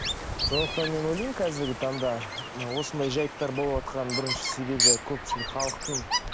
сондықтан мен ойлаймын қазіргі таңда мына осындай жайттар болватқан бірінші себебі көпшілік халықтың